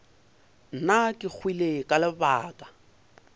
nna ke hwile ka lebaka